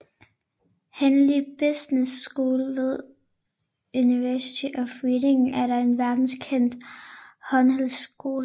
Henley Business School ved University of Reading er en verdenskendt handelshøjskole